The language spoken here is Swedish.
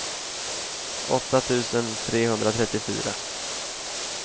åtta tusen trehundratrettiofyra